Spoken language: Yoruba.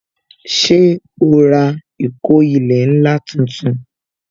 Ṣé o ra ìkó ilẹ̀ ńlá tuntun